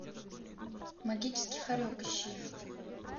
магический хорек ищи